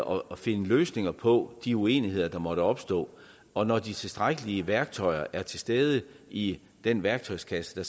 og af at finde løsninger på de uenigheder der måtte opstå og når de tilstrækkelige værktøjer er til stede i den værktøjskasse